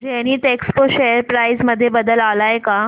Zenith Expo share price मध्ये बदल आलाय का